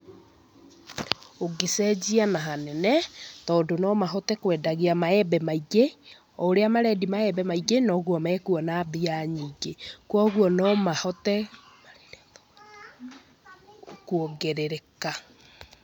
Ũngĩcenjia na hanene tondũ no mahote kwendagia maembe maingĩ, o ũrĩa marendia maembe maingĩ, noguo mekuona mbia nyingĩ. Kwoguo no mahote kuongerereka.